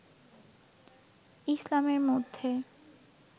ইসলামের মধ্যে